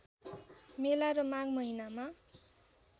मेला र माघ महिनामा